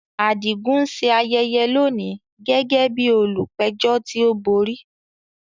Adigun ń ṣe ayẹyẹ lónìí gẹ́gẹ́ bí olùpẹ̀jọ́ tí ó borí.